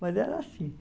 Mas era assim.